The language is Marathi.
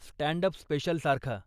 Stand up स्पेशलसारखा.